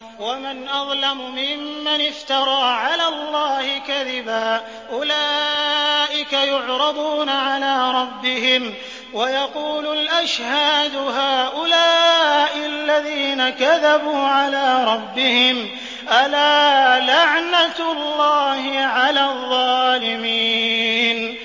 وَمَنْ أَظْلَمُ مِمَّنِ افْتَرَىٰ عَلَى اللَّهِ كَذِبًا ۚ أُولَٰئِكَ يُعْرَضُونَ عَلَىٰ رَبِّهِمْ وَيَقُولُ الْأَشْهَادُ هَٰؤُلَاءِ الَّذِينَ كَذَبُوا عَلَىٰ رَبِّهِمْ ۚ أَلَا لَعْنَةُ اللَّهِ عَلَى الظَّالِمِينَ